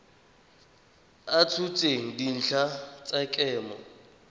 a tshotseng dintlha tsa kemo